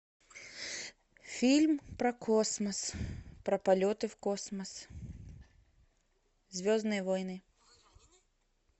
фильм про космос про полеты в космос звездные войны